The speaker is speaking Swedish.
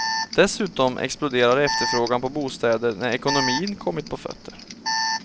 Dessutom exploderar efterfrågan på bostäder när ekonomin kommit på fötter.